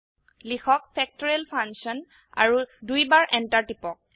লিখক factorial Function আৰু দুইবাৰ এন্টাৰ টিপক